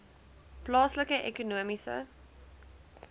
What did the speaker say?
plaaslike ekonomiese